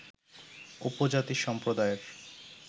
উপজাতি সম্প্রদায়ের